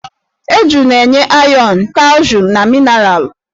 Eju na-enye ayọn, kalshium na minaralụ.